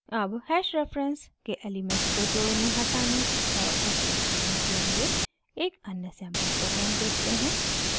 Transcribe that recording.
अब hash reference के elements को जोड़ने हटाने और एक्सेस करने के लिए एक अन्य सैंपल प्रोग्राम देखते हैं